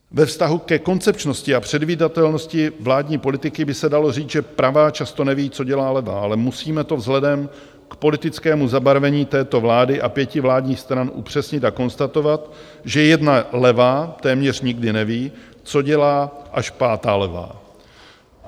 Ve vztahu ke koncepčnosti a předvídatelnosti vládní politiky by se dalo říct, že pravá často neví, co dělá levá, ale musíme to vzhledem k politickému zabarvení této vlády a pěti vládních stran upřesnit a konstatovat, že jedna levá téměř nikdy neví, co dělá až pátá levá.